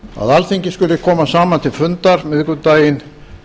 alþingi skuli koma saman miðvikudaginn